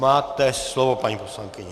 Máte slovo, paní poslankyně.